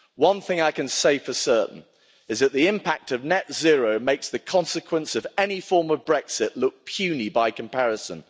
One thing I can say for certain is that the impact of net zero makes the consequence of any form of Brexit look puny by comparison.